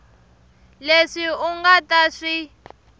leswi u nga ta swi